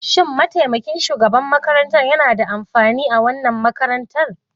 Shin mataimakin shugaban makarantar yana da amfani a wannan makarantar.